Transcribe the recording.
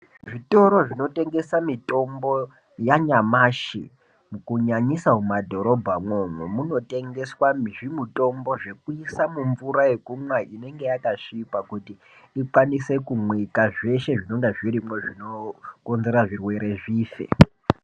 Zvitoro zvinotengesa mitombo yanyamashi kunyanyisa mumwadhorobha imwomwo, munotengeswa nezvimutombo zvekuisa mumvura yekumwa inenge yakasvipa, kuti ikwanise kumwika, zveshe zvinonga zvirimwo zvinokonzera zvirwere zvife.